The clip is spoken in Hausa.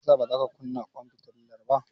Me yasa bazaka kunna ƙwan fitilar ba.